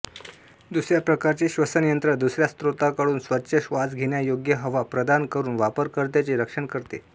दुसऱ्या प्रकारचे श्वसनयंत्र दुसऱ्या स्रोताकडून स्वच्छ श्वास घेण्यायोग्य हवा प्रदान करून वापरकर्त्याचे रक्षण करते